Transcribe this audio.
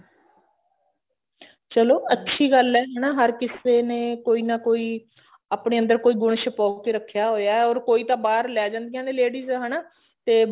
ਚੱਲੋ ਅੱਛੀ ਗੱਲ ਐ ਹਨਾ ਹਰ ਕਿਸੇ ਨ ਕੋਈ ਨਾ ਕੋਈ ਆਪਣੇ ਅੰਦਰ ਕੋਈ ਗੁਣ ਛੁਪੋ ਕੇ ਰੱਖਿਆ ਹੋਇਆ or ਕੋਈ ਤਾਂ ਬਾਹਰ ਲੈ ਜਾਂਦਿਆ ਨੇ ladies ਹਨਾ ਤੇ